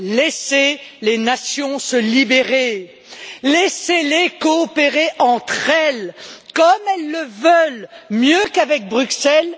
Laissez les nations se libérer, laissez les coopérer entre elles, comme elles le veulent, mieux qu'avec Bruxelles.